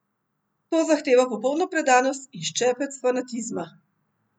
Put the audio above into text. To zahteva popolno predanost in ščepec fanatizma.